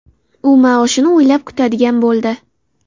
U maoshini oylab kutadigan bo‘ldi.